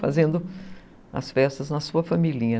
Fazendo as festas na sua familhinha.